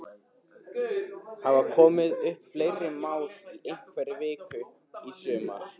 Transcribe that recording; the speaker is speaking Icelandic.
Hafa komið upp fleiri mál í einhverri viku í sumar?